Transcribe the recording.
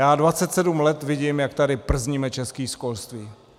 Já 27 let vidím, jak tady przníme české školství.